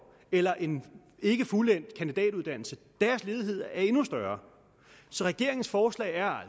eller en ikke fuldendt kandidatuddannelse er ledigheden endnu større så regeringens forslag er